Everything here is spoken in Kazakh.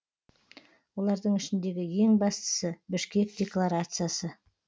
олардың ішіндегі ең бастысы бішкек декларациясы